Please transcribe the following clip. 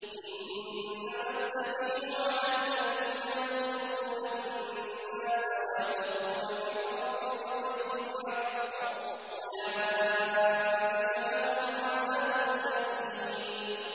إِنَّمَا السَّبِيلُ عَلَى الَّذِينَ يَظْلِمُونَ النَّاسَ وَيَبْغُونَ فِي الْأَرْضِ بِغَيْرِ الْحَقِّ ۚ أُولَٰئِكَ لَهُمْ عَذَابٌ أَلِيمٌ